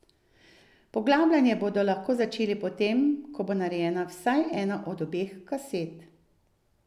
Poglabljanje bodo lahko začeli potem, ko bo narejena vsaj ena od obeh kaset.